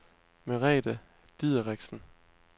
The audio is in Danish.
Merete Dideriksen